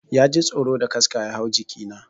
Ya ji tsoro da kaska ya hau jiki na.